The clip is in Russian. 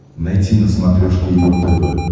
найти на смотрешке его тв